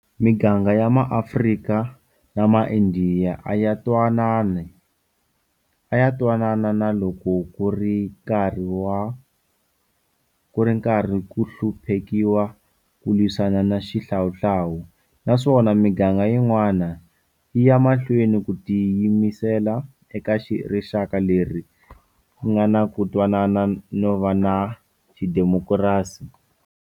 Miganga ya MaAfrika na MaIndiya a yi twanana na loko ku ri karhi ku hluphekiwa ku lwisaniwa na xihlawuhlawu, naswona miganga yin'wana, yi ya mahlweni yi tiyimisela eka rixaka leri nga na ku twanana no va na xidemokirasi.